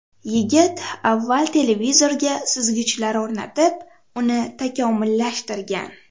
Yigit avval televizorga suzgichlar o‘rnatib, uni takomillashtirgan.